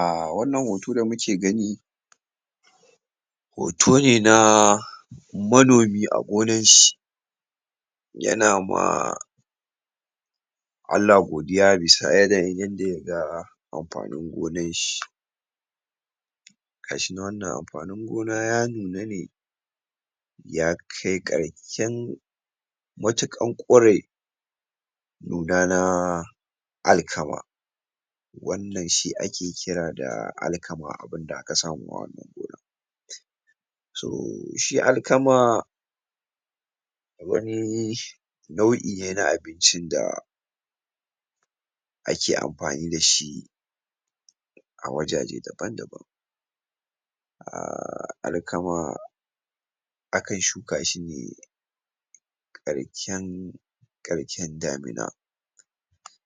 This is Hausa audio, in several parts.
A[um] wannan hoto da muke gani hoto ne na manomi a gonan shi yana ma Allah godiya bisa yanayin yanda yaga amfanin gonan shi gashi nan wannan amfanin gona ya nuna ne yakai karshen matukar kure nuna na um alkama wanna shi ake kira da alkama abinda aka samo a wannan gona so, shi alakama wani um nau'i ne na abincin da um ake amfani dashi a wajaje daban daban um alakama akan shuka sane karshen karshen damina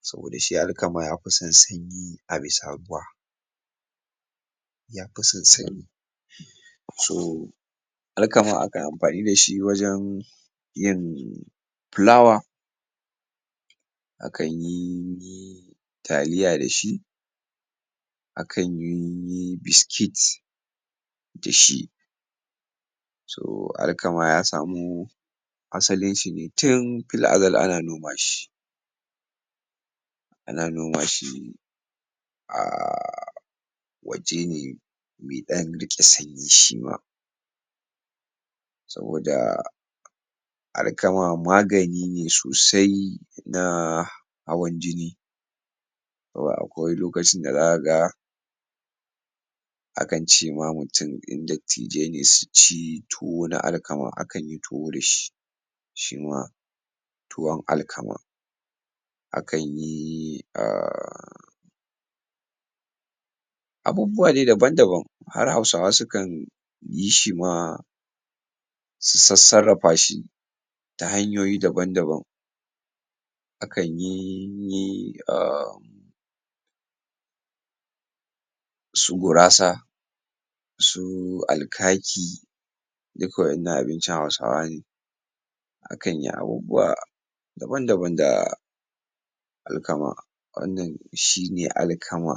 saboda shi alkama yafi san sanyi a bisa ruwa yafi san sanyi so alkama ana amfani dashi wajen yin filawa akan yi um taliya dashi akanyi um biscuit dashi so alakama ya samu asalinshi ne tin fil'azal ana noma shi um ana noma shi um waje ne mai dan rike sanyi shima saboda alkama magani ne sosai na um hawan jini akwai lokacin da zakaga akan ce ma mutum, in dattijai ne suci tuwo na alkama. akanyi tuwo dashi shima tuwan alkaman akanyi um abubuwa dai daban daban har hausawa sukan yishi ma su sassarafa shi ta hanyoyi daban daban akanyi um su gurasa su alkaki duk wa'innan abincin hausawa ne akan yi abubuwa daban daban da alkama. Wannnan shi ne alkama